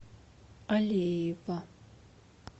алеева